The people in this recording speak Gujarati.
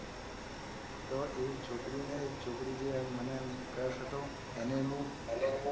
તો એક છોકરીને એ છોકરીને મને એમ crush હતો. એને હું ઉભી કરીને કે